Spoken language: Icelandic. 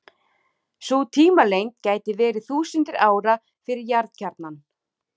Sú tímalengd gæti verið þúsundir ára fyrir jarðkjarnann.